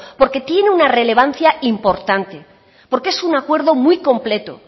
porque tiene una relevancia importante porque es un acuerdo muy completo